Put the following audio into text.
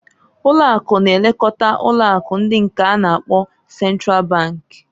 Ụlo̼ akụ na-elekota ụlọ akụ ndị k'a na-akpọ Central Bank.